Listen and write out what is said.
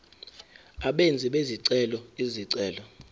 abenzi bezicelo izicelo